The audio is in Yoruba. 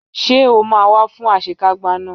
Ṣé o máa wá fún àṣekágbá náà?